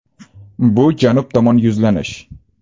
Bu Janub tomon yuzlanish.